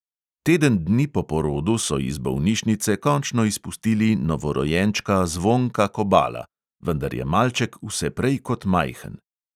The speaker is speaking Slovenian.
Teden dni po porodu so iz bolnišnice končno izpustili novorojenčka zvonka kobala, vendar je malček vse prej kot majhen.